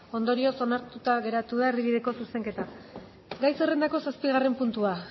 ondorioz onartuta geratu da erdibideko zuzenketa gai zerrendako zazpigarren puntua